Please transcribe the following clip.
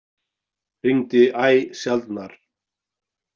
Hringdi æ sjaldnar.